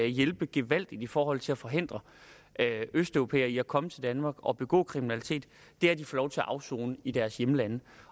hjælpe gevaldigt i forhold til at forhindre østeuropæere i at komme til danmark og begå kriminalitet er at de få lov til at afsone i deres hjemlande